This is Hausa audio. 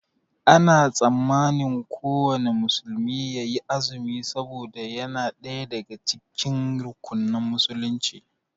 Ana tsammanin kuwanna musulmi yayi azumi saboda yana ɗaya daga cikin rukunan musulunci